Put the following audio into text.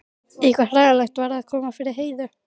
Eitthvað hræðilegt var að koma fyrir Heiðu.